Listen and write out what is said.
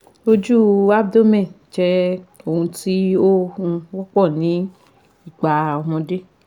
Ojú abdomen jẹ́ ohun tí ó um wọ́pọ̀ ní ìgbà ọmọdé